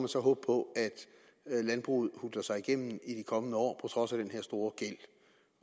så håbe på at landbruget hutler sig igennem i de kommende år trods af den her store gæld